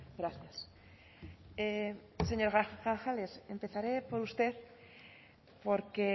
gracias señor grajales empezaré por usted porque